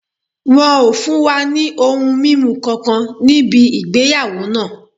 Wọ́n ò fún wa ní ohun mímu kankan níbì ìgbéyàwó náà